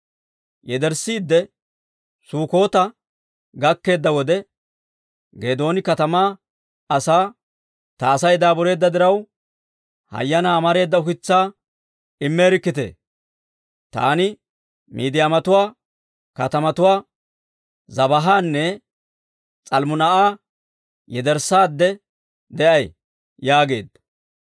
Yederssiidde Sukkota gakkeedda wode, Geedooni katamaa asaa, «Ta Asay daabureedda diraw, hayanaa amareeda ukitsaa immeerikkitee. Taani Miidiyaamatuwaa kaatetuwaa Zebaahanne S'almmunaa'a yederssaadde de'ay» yaageedda.